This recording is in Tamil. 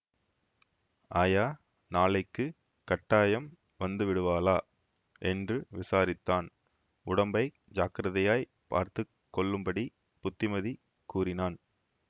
ஆயா நாளைக்குக் கட்டாயம் வந்து விடுவாளா என்று விசாரித்தான் உடம்பை ஜாக்கிரதையாய்ப் பார்த்து கொள்ளும்படி புத்திமதி கூறினான்